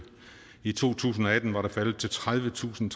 i to tusind og atten var det faldet til tredivetusinde